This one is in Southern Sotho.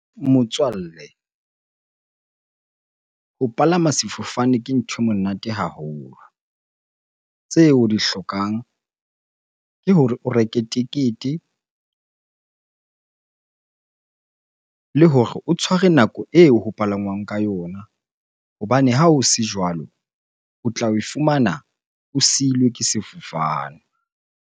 Motswalle, ho palama sefofane ke ntho e monate haholo. Tseo o di hlokang ke hore o reke tekete le hore o tshware nako eo ho palangwang ka yona hobane ha o se jwalo, o tla e fumana o siilwe ke sefofane.